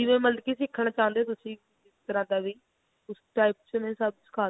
ਜਿਵੇਂ ਮਤਲਬ ਕੀ ਸਿੱਖਣਾ ਚਾਹੁੰਦੇ ਹੋ ਤੁਸੀਂ ਜਿਸ ਤਰ੍ਹਾਂ ਦਾ ਵੀ ਉਸ type ਚ ਮੈਂ ਸਭ ਸਿਖਾ ਦੂਂਗੀ